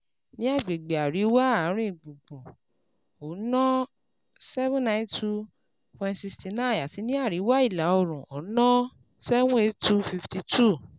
Ní àgbègbè Àríwá Àárín Gbùngbùn, ó ná seven nine two point sixty nine àti ní Àríwá Ìlà Oòrùn, ó ná seven eight two fifty two